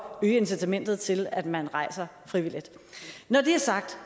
øge incitamentet til at man rejser frivilligt når det er sagt